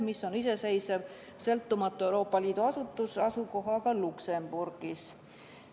See on iseseisev, sõltumatu Euroopa Liidu asutus, mis asub Luxembourgis.